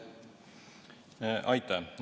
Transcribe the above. Aitäh!